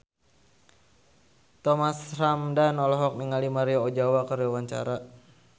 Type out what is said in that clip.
Thomas Ramdhan olohok ningali Maria Ozawa keur diwawancara